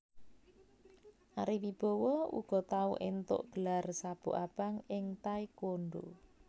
Ari Wibowo uga tau éntuk gelar sabuk abang ing taekwondo